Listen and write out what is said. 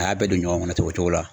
A y'a bɛɛ don ɲɔgɔn ten o cogo la.